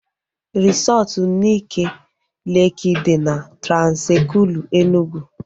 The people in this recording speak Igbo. Resọtu Nike Leeki dị na Transekulu Enugwu